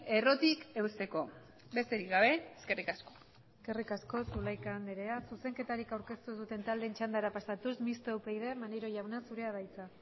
errotik eusteko besterik gabe eskerrik asko eskerrik asko zulaika andrea zuzenketarik aurkeztu ez duten taldeen txandara pasatuz mistoa upyd maneiro jauna zurea da hitza